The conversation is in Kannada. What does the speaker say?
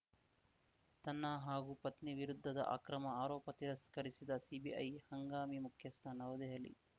ತನ್ನ ಹಾಗೂ ಪತ್ನಿ ವಿರುದ್ಧದ ಅಕ್ರಮ ಆರೋಪ ತಿರಸ್ಕರಿಸಿದ ಸಿಬಿಐ ಹಂಗಾಮಿ ಮುಖ್ಯಸ್ಥ ನವದೆಹಲಿ